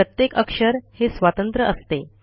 प्रत्येक अक्षर हे स्वतंत्र असते